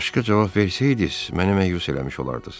Başqa cavab versəydiniz, mənimlə məyus eləmisiniz.